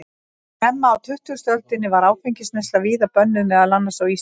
Snemma á tuttugustu öldinni var áfengisneysla víða bönnuð, meðal annars á Íslandi.